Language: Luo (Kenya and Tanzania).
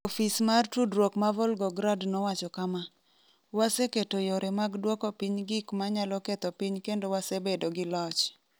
Ofis mar tudruok ma Volgograd nowacho kama: “Waseketo yore mag dwoko piny gik ma nyalo ketho piny kendo wasebedo gi loch.”